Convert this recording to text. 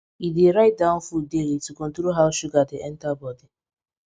e dey write down food daily to control how sugar dey enter body